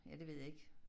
Ja det ved jeg ikke